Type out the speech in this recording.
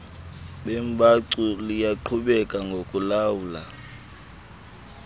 beembacu liyaqhubeka ngokulamla